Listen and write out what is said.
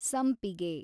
ಸಂಪಿಗೆ